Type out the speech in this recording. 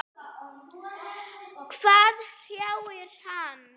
Hvað hrjáir hann?